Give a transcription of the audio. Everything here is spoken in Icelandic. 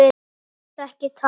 Ég get ekki talað.